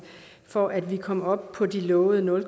for at vi kommer op på de lovede nul